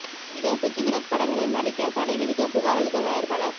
நடிகர் பிருதிவிராஜ் படங்களில் நடிக்கத் தடை விதிக்க புகார் அளித்த தயாரிப்பாளர்